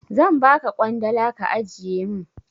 Zan ba ka ƙwandala ka ajiye min.